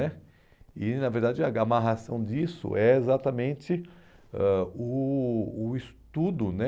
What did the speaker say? né. E, na verdade, a amarração disso é exatamente ãh o o estudo né